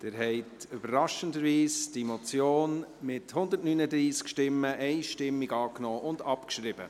Sie haben diese Motion überraschenderweise mit 139 Stimmen einstimmig angenommen und abgeschrieben.